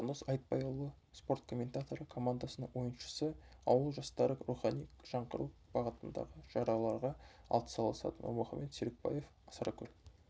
жандос айтбайұлы спорт комментаторы командасының ойыншысы ауыл жастары рухани жаңғыру бағытындағы шараларға атсалысады нұрмұхамед серікбаев сарыкөл